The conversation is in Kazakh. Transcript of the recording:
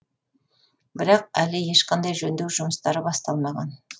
бірақ әлі ешқандай жөндеу жұмыстары басталмаған